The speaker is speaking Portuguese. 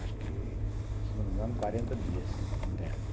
Acho que, se não me engano, quarenta dias internos.